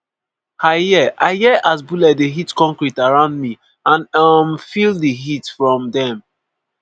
i hear i hear as bullets dey hit concrete around me and um feel di heat from dem.'